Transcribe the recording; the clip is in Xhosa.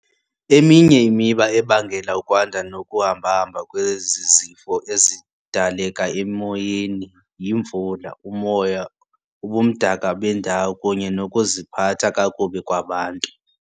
Eminye imiba ebangela ukwanda nokuhamba-hamba kwezi zifo ezidaleka emoyeni yimvula, umoya, ubumdaka bendawo kunye nokuziphatha kakubi kwabantu.